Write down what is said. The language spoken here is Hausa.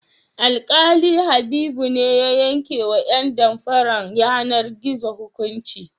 Alƙali Habibu ne ya yankewa ƴan damfarar yanar-gizo hukunci.